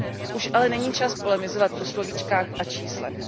Už ale není čas polemizovat o slovíčkách a číslech.